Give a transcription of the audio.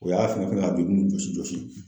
O y'a fɛngɛ fɛngɛ ka joli nunnu jɔsi jɔsi.